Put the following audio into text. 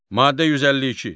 Maddə 152.